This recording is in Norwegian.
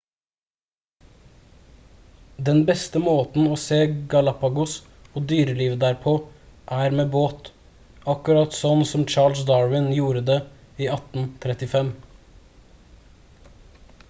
den beste måten å se galapagos og dyrelivet der på er med båt akkurat sånn som charles darwin gjorde det i 1835